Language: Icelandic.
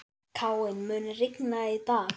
Káinn, mun rigna í dag?